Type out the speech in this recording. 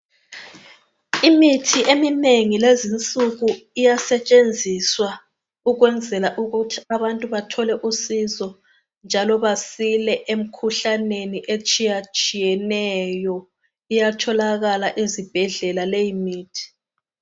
Imithi eminengi kulezi insuku iyasetshenziswa ukwenzela ukuthi abantu bathole usizo njalo basile emkhuhlaneni etshiyatshiyeneyo iyatholakala ezibhedlela leyo mithi.